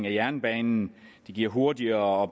af jernbanen det giver hurtigere